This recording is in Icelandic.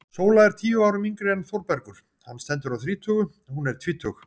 Sóla er tíu árum yngri en Þórbergur, hann stendur á þrítugu, hún er tvítug.